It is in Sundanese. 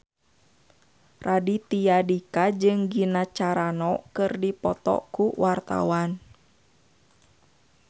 Raditya Dika jeung Gina Carano keur dipoto ku wartawan